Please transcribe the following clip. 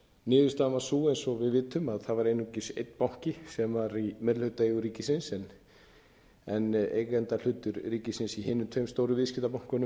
niðurstaðan varð sú eins og við vitum að það var einungis einn banki sem var í meirihlutaeigu ríkisins en eigendahlutur ríkisins í hinum tveim stóru viðskiptabönkunum